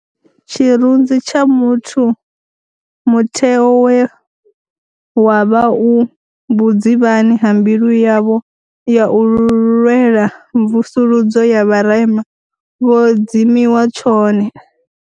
Tshirunzi tsha muthu, mutheo we wavha u vhudzivhani ha mbilu yavho ya u lwela mvusuludzo ya vharema, vho dzimiwa tshone.